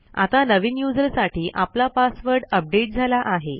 आता नवीन यूझर साठी आपला पासवर्ड अपडेट झाला आहे